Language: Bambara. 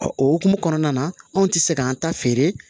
o hukumu kɔnɔna na anw tɛ se k'an ta feere